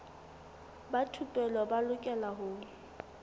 ba thupelo ba lokela ho